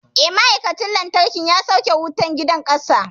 Eh, ma'aikacin lantarkin ya sauke wutar gidan ƙasa.